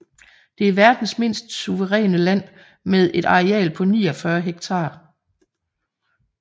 Det er verdens mindste suveræne land med et areal på 49 hektar